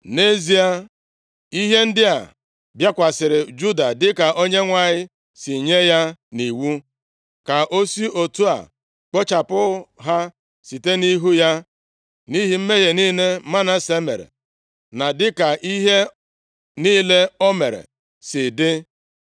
Nʼezie, ihe ndị a bịakwasịrị Juda dịka Onyenwe anyị si nye ya nʼiwu, ka o si otu a kpochapụ ha site nʼihu ya nʼihi mmehie niile Manase mere, na dịka ihe niile o mere si dị,